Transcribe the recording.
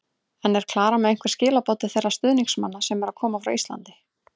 En er Klara með einhver skilaboð til þeirra stuðningsmanna sem eru að koma frá Íslandi?